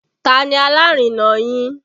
Ta ni alárinà yín?